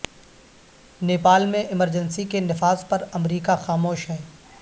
نیپال میں ایمرجنسی کے نفاذ پر امریکہ خاموش ہے